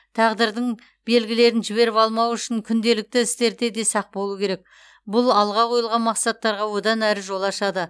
тағдырдың белгілерін жіберіп алмау үшін күнделікті істерде де сақ болу керек бұл алға қойылған мақсаттарға одан әрі жол ашады